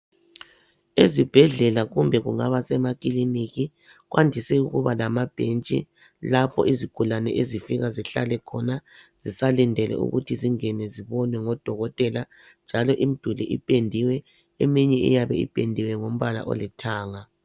Ezibhendlela kumbe kungaba semakiliniki kwandise ukuba lamabhentshi lapho izigulane ezifika zihlale khona zisalindele ukuthi zingene zibonwe ngodokotela . Njalo imiduli ipendiwe, eminye iyabe ipendiwe ngombala olithanga.